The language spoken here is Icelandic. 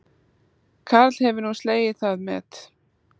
Karl hefur nú slegið það met